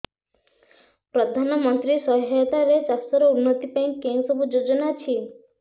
ପ୍ରଧାନମନ୍ତ୍ରୀ ସହାୟତା ରେ ଚାଷ ର ଉନ୍ନତି ପାଇଁ କେଉଁ ସବୁ ଯୋଜନା ଅଛି